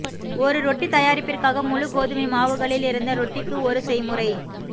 ஒரு ரொட்டி தயாரிப்பிற்காக முழு கோதுமை மாவுகளிலிருந்த ரொட்டிக்கு ஒரு செய்முறை